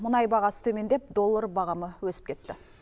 мұнай бағасы төмендеп доллар бағамы өсіп кетті